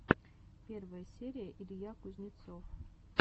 первая серия илья кузнецов